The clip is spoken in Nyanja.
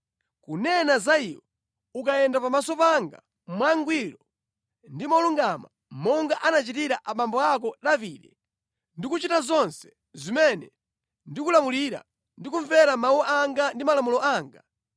“Kunena za iwe, ukayenda pamaso panga mokhulupirika, mwangwiro ndi moona mtima monga momwe anachitira abambo ako Davide, ndi kuchita zonse zimene ndakulamula ndi kusamalitsa malangizo ndi malamulo anga,